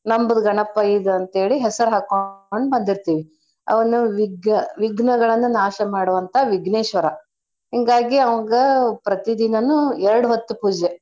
ನಮ್ದ್ ಗಣಪ ಇದ್ ಅಂತೇಳಿ ಹೆಸರ್ ಹಾಕೊಂಡ್ ಬಂದಿರ್ತಿವಿ. ಅವ್ನು ವಿಗ್ಗ~ ವಿಘ್ನ ಗಳನ್ನ ನಾಶ ಮಡಿವಂತ ವಿಘ್ನೇಶ್ವರ. ಹಿಂಗಾಗಿ ಅವ್ಗ ಪ್ರತೀದಿನಾನೂ ಎರ್ಡ್ ಹೊತ್ತು ಪೂಜೆ.